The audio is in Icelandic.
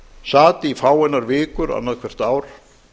sat í fáeinar vikur annað hvert ár